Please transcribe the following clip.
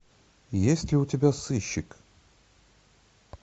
есть ли у тебя сыщик